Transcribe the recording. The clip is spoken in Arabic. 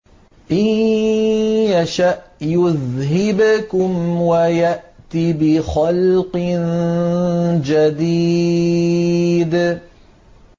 إِن يَشَأْ يُذْهِبْكُمْ وَيَأْتِ بِخَلْقٍ جَدِيدٍ